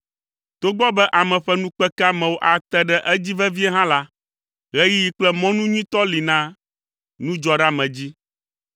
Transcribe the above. Togbɔ be ame ƒe nukpekeamewo ate ɖe edzi vevie hã la, ɣeyiɣi kple mɔnu nyuitɔ li na nudzɔɖeamedzi.